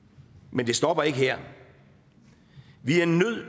men det stopper ikke her vi er nødt